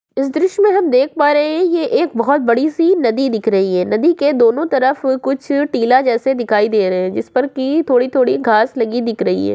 इस दृशय में हम देख पा रहे हैं ये एक बहुत बड़ी से नदी दिख रही है नदी के दोनों तरफ कुछ टीला जैसे दिखाई दे रहे हैं जिस पर की थोड़ी-थोड़ी घांस लगी दिख रही है।